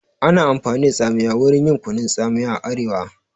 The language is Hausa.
Ana amfani da tsamiya wurin yin kunun tsamiya a arewa